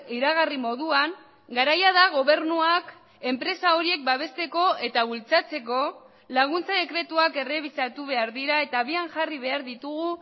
iragarri moduan garaia da gobernuak enpresa horiek babesteko eta bultzatzeko laguntza dekretuak errebisatu behar dira eta abian jarri behar ditugu